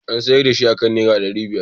An siyar da shi aka nera ɗari biyar